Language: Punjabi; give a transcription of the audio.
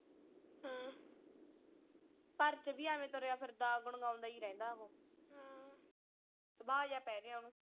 ਘਰ ਚ ਵੀ ਐਵੇਂ ਤੁਰਿਆ ਫਿਰਦਾ ਗੂੰਗਾਉਂਦਾ ਹੀ ਰਹਿੰਦਾ ਉਹ ਹਾਂ ਸੁਭਾਅ ਜੇਹਾ ਪੈ ਗਿਆ ਓਹਨੂੰ।